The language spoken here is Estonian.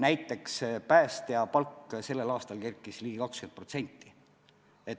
Näiteks päästja palk kerkis sellel aastal ligi 20%.